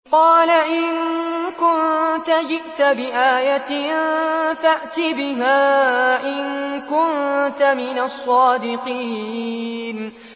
قَالَ إِن كُنتَ جِئْتَ بِآيَةٍ فَأْتِ بِهَا إِن كُنتَ مِنَ الصَّادِقِينَ